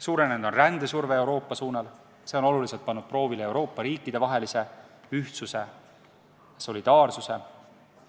Suurenenud on rändesurve Euroopa suunal, see on pannud oluliselt proovile Euroopa riikide vahelise ühtsuse, solidaarsuse.